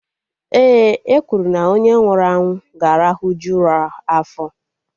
Ee, e kwuru na onye nwụrụ anwụ ga-arahuju ụra afọ